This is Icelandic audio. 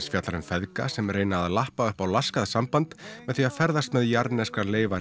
fjallar um feðga sem reyna að lappa upp á laskað samband með því að ferðast með jarðneskar leifar